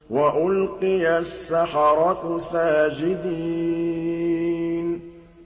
وَأُلْقِيَ السَّحَرَةُ سَاجِدِينَ